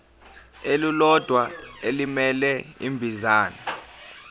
elilodwa elimele ibinzana